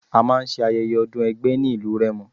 A máa ń ṣe Ayẹyẹ ọdún ẹgbẹ́ ní ìlú Rẹ́mọ.